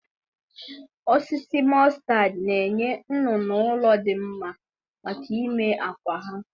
Osisi mkpụrụ mọstad na-enye nnụnụ ụlọ dị mma maka ime akwụ ha.